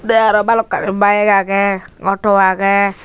tey aro balokkani bike agey auto agey.